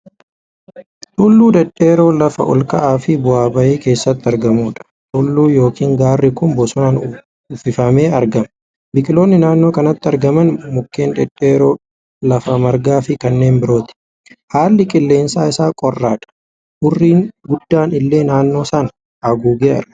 Tulluu dheedheroo lafa olka'aa fi bu'aa bayii keessatti argamuudha. Tulluu yookiin gaarri kun bosonaan uffifamee argama. Biqiloonni naannoo kanatti argaman, mukkeen dhedheeroo, lafa margaa fi kanneen birooti. Haalli qilleensa isaa qorraadha. Hurrii guddaan illee naannoo sana haguugee argama.